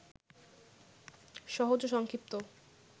সহজ ও সংক্ষিপ্ত